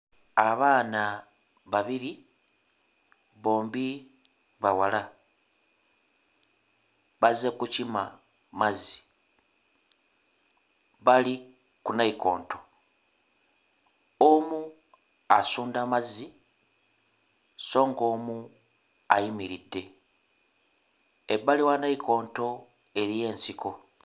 Abaana babiri, bombi bawala bazze kukima mazzi. Bali ku nnayikondo; omu asunda mazzi so ng'omu ayimiridde. Ebbali wa nnayikondo eriyo ensiko.